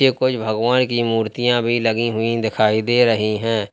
कोई भगवान की मूर्तियां भी लगी हुई दिखाई दे रही हैं।